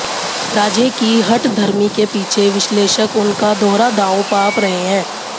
राजे की हठधर्मी के पीछे विश्लेषक उनका दोहरा दांव भांप रहे हैं